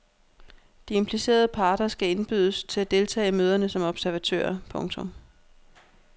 De implicerede parter skal indbydes til at deltage i møderne som observatører. punktum